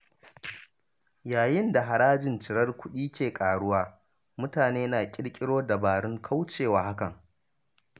Yayin da harajin cirar kuɗi ke ƙaruwa, mutane na ƙirkiro dabarun kaucewa hakan.